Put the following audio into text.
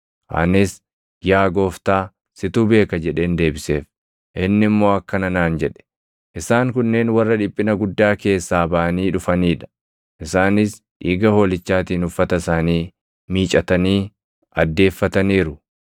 Anis, “Yaa Gooftaa, situ beeka” jedheen deebiseef. Inni immoo akkana naan jedhe; “Isaan kunneen warra dhiphina guddaa keessaa baʼanii dhufanii dha; isaanis dhiiga Hoolichaatiin uffata isaanii miicatanii addeeffataniiru.